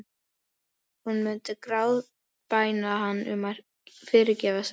Hún myndi grátbæna hann um að fyrirgefa sér.